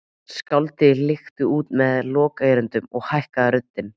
Skáldið klykkti út með lokaerindinu og hækkaði röddina